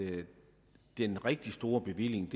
det er den rigtig store bevilling